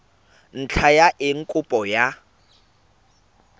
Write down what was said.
ntlha ya eng kopo ya